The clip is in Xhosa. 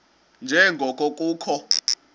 nje ngoko kukho